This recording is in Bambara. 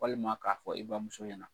Walima k'a fɔ i bamuso ɲɛna.